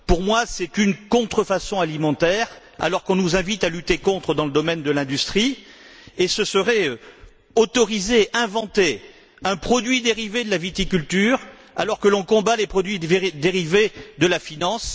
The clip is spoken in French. Pour moi, c'est une contrefaçon alimentaire, alors qu'on nous invite à lutter contre dans le domaine de l'industrie, et ce serait autoriser, inventer un produit dérivé de la viticulture, alors que l'on combat les produits dérivés de la finance.